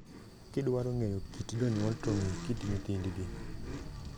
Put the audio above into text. Gidwaro ng'enyo kit jonyuol to ng'ii kit nyithindgi.